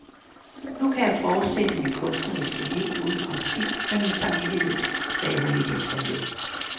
Nu kan jeg fortsætte mit kunstneriske liv uden konflikt med min samvittighed, sagde hun i et interview.